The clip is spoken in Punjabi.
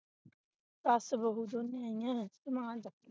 ਸਸ ਬਹੁ ਦੋਨੇ ਹਾਈਆਂ ਨੇ ਸਮਾਨ ਚਕ ਕੇ